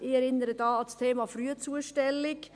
Ich erinnere da an das Thema der Frühzustellung.